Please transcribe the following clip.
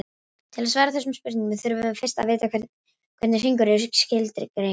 Til að svara þessari spurningu þurfum við fyrst að vita hvernig hringur er skilgreindur.